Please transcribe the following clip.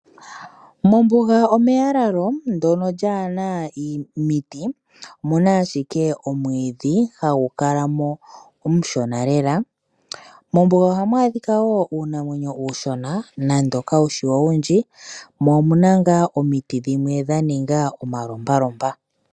Mombuga omeyalalo mono mwaana omiti. Omu na omwiidhi hagu kala mo omushona lela. Mombuga ohamu adhika wo uunamwenyo uushona nande kawushi owundji. Omu na ngaa omiti dhimwe dhaninga omalompalompa.